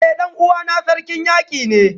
Eh dan uwana Sarkin Yaki ne